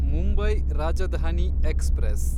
Mumbai Rajdhani express